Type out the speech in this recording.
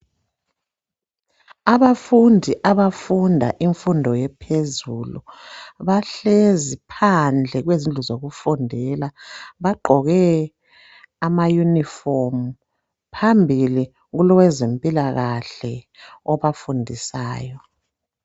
Abafundi abafunda imfundo ephezulu bahlezi phandle kwezindlu zokufundela bagqoke amayunifomu phambili kulowezempilakahle obafundisayo.